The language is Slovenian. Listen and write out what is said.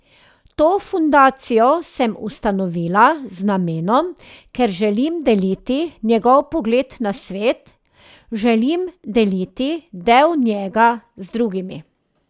To fundacijo sem ustanovila z namenom, ker želim deliti njegov pogled na svet, želim deliti del njega z drugimi.